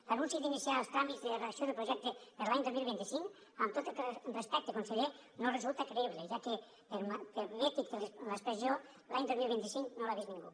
l’anunci d’iniciar els tràmits de redacció del projecte per a l’any dos mil vint cinc amb tot el respecte conseller no resulta creïble ja que l’expressió l’any dos mil vint cinc no l’ha vist ningú